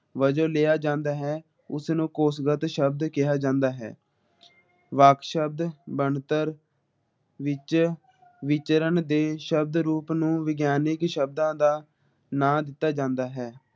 ਵਜੋਂ ਲਿਆ ਜਾਂਦਾ ਹੈ । ਉਸਨੂੰ ਕੋਸ਼ਗਤ ਸ਼ਬਦ ਕਿਹਾ ਜਾਂਦਾ ਹੈ ਵਾਕ ਸ਼ਬਦ ਬਣਤਰ ਵਿਚ ਵਿਚਰਨ ਦੇ ਸ਼ਬਦ ਰੂਪ ਨੂੰ ਜਾਣੇ ਕਿ ਸ਼ਬਦਾਂ ਦਾ ਨਾ ਦਿਤਾ ਜਾਂਦਾ ਹੈ ।